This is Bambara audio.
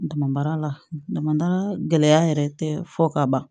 Dama la dama gɛlɛya yɛrɛ tɛ fɔ ka ban